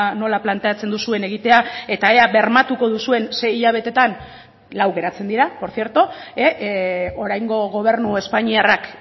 nola planteatzen duzuen egitea eta ea bermatuko duzuen sei hilabeteetan lau geratzen dira por cierto oraingo gobernu espainiarrak